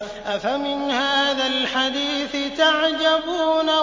أَفَمِنْ هَٰذَا الْحَدِيثِ تَعْجَبُونَ